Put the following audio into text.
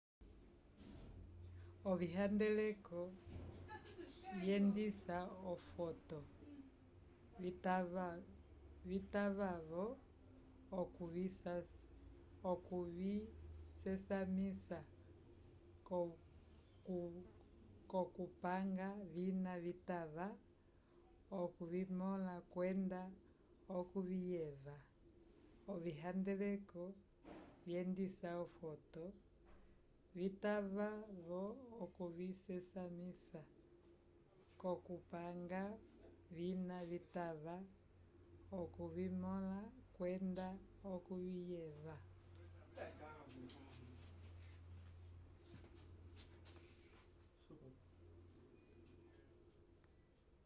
ovihandeleko vyendisa ofoto vitava-vo okuvisesamisa k'okupanga vina vitava okuvimõla kwenda okuviyeva